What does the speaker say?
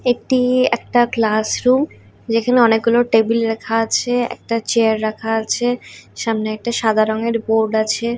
এটি একটা ক্লাসরুম যেখানে অনেকগুলো টেবিল রাখা আছে একটা চেয়ার রাখা আছে সামনে একটা সাদা রঙের বোর্ড আছে।